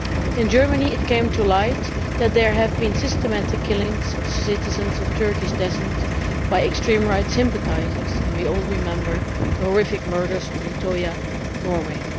In Germany it came to light that there have been systematic killings of citizens of Turkish descent by extreme right sympathisers, and we all remember the horrific murders on Utøya, Norway.